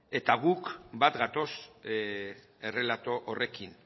eta guk bat gatoz errelato horrekin